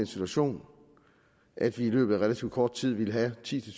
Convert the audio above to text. situation at vi i løbet af relativt kort tid ville have ti til